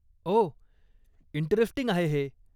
ओह, interesting आहे हे.